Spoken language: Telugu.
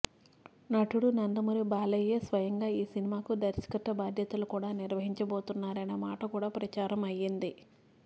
నటుడు నందమూరి బాలయ్యే స్వయంగా ఈ సినిమాకు దర్శకత్వ బాధ్యతలు కూడా నిర్వహించబోతున్నారనే మాట కూడా ప్రచారం అయ్యింది